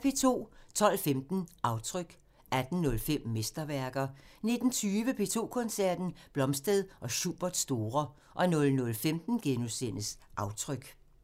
12:15: Aftryk 18:05: Mesterværker 19:20: P2 Koncerten – Blomstedt og Schuberts store 00:15: Aftryk *